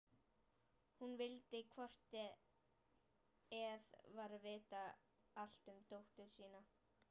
Hún vildi hvort eð var vita allt um dóttur sína.